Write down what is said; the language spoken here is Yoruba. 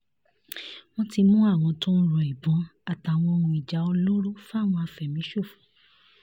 wọ́n ti mú àwọn tó ń ro ìbọn àtàwọn ohun ìjà olóró fáwọn afẹ̀míṣòfò